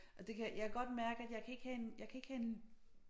Og det kan jeg kan godt mærke at jeg kan ikke have en jeg kan ikke have en